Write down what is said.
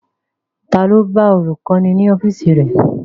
Ta ló lọ bá olùkọ́ni ní ọ́fíìsì rẹ̀?